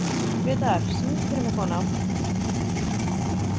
Grétar, syngdu fyrir mig „Kona“.